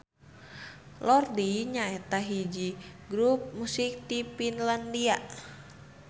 Lordi nyaeta hiji grup musik ti Finlandia.